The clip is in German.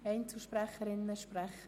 Einzelsprecherinnen oder -sprecher?